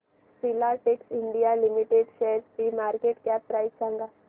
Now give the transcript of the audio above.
Filatex India limited शेअरची market cap price सांगा